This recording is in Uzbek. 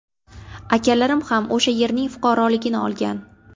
Akalarim ham o‘sha yerning fuqaroligini olgan.